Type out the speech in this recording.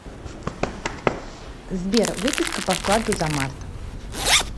сбер выписка по вкладу за март